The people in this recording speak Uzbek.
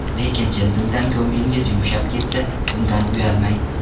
Lekin chin dildan ko‘nglingiz yumshab ketsa, bundan uyalmang.